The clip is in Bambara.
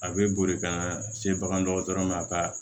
A bɛ boli ka na se bagandɔgɔtɔrɔ ma a ka